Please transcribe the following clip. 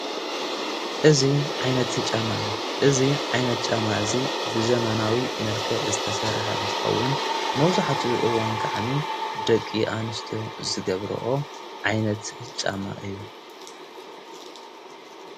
እዙይ ዓይነት ጫማ እዩ እዙ ዓይነት ጫማ እዙይ ብዘመናዊ መልከ ዝተሠርሐ እንተኸውን መውዙኃቲ እዋን ክዓኒ ደቂ ኣንስትዮ ዝገብርኦ ዓይነት ጫማ እዩ።